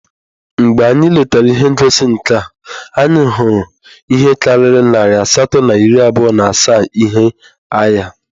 Mgbe anyị letara ihe ngosi nka, anyị hụrụ ihe karịrị narị asatọ na iri abụọ na asaa ihe agha